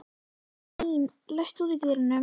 Hlín, læstu útidyrunum.